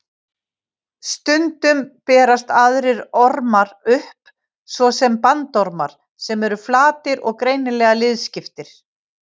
Stundum berast aðrir ormar upp, svo sem bandormar sem eru flatir og greinilega liðskiptir.